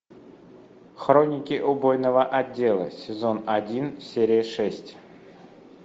хроники убойного отдела сезон один серия шесть